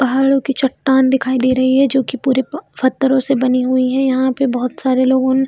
पहाड़ो की चट्टान दिखाई दे रही है जो की पुरे प पत्थरों से बनी हुई है यहाँ पे बहुत सारे लोगो ने --